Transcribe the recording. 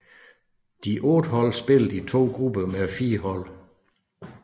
De otte hold spillede i to grupper med fire hold